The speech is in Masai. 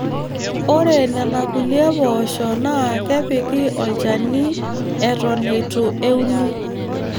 Ore nenakulie poosho naa kepiki olchani Eton eitu euni.